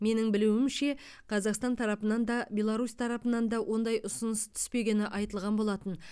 менің білуімше қазақстан тарапынан да беларусь тарапынан да ондай ұсыныс түспегені айтылған болатын